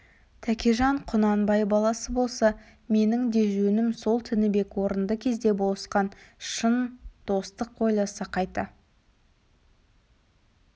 тәкежан құнанбай баласы болса менің де жөнім сол тінібек орынды кезде болысқан шын достық ойласа қайта